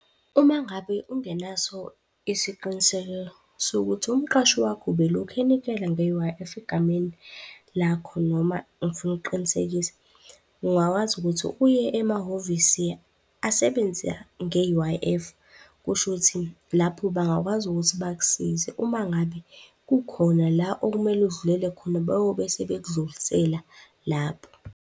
Uma ngabe ungenaso isiqiniseko sokuthi umqashi wakho ubelokhu enikela nge-U_I_F egameni lakho noma ngifuna ukuqinisekisa, ungakwazi ukuthi uye emahhovisi asebenza nge-U_I_F. Kushuthi lapho bangakwazi ukuthi bakusize. Uma ngabe kukhona la okumele udlulele khona beyobe sebekudlulisela lapho.